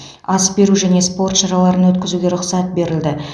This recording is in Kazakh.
ас беру және спорт шараларын өткізуге рұқсат берілді